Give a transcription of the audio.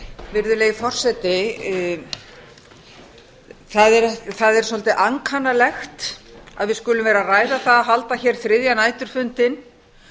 virðulegi forseti það er svolítið ankannalegt að við skulum vera að ræða það að halda hér þriðja næturfundinn